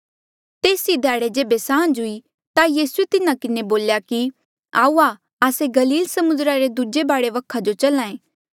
तेस ई ध्याड़े जेबे सांझ हुई ता यीसूए तिन्हा किन्हें बोल्या की आऊआ आस्से गलील समुद्रा रे दूजे बाढे वखा जो चल्हा ऐें